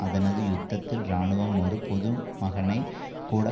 அதனது யுத்தத்தில் இராணுவம் ஒரு பொதுமகனைக் கூட